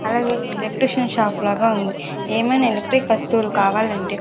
అలాగే electrician shop లాగా ఉంది ఏమైనా ఎలక్ట్రిక్ వస్తువులు కావాలంటే--